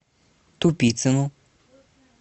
тупицыну